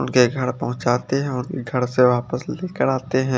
उनके घर पहुचाते है और घर से वापस लेकर आते है।